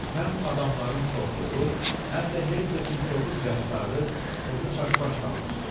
Həm adamların çoxluğu, həm də Hersoqun kobud rəftarı qızı çaşbaş salmışdı.